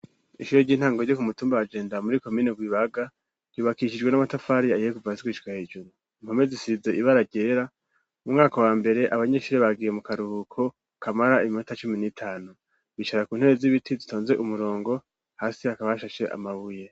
Ishure ry'intango ryo ku mu tumba wa Jenda muri komine Rwibaga ryubakishijwe n'amatafari ahiye kuva hasi gushika hejuru impome zisize ibara ryera mu mwaka wa mbere abanyeshuri bagiye mu karuhuko kamara iminota cumi n'itanu bicara ku ntebe z'ibiti zitonze umurongo hasi hakaba hashashe amabuye.